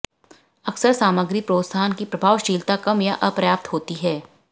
अक्सर सामग्री प्रोत्साहन की प्रभावशीलता कम या अपर्याप्त होती है